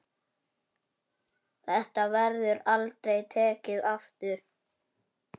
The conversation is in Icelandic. Þetta verður aldrei tekið aftur.